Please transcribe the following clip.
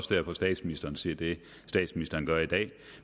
derfor statsministeren siger det statsministeren gør i dag